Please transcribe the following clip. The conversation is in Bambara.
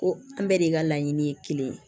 Ko an bɛɛ de ka laɲini ye kelen ye